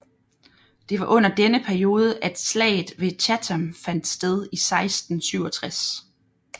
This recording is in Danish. Det var under denne periode at slaget ved Chatham fandt sted i 1667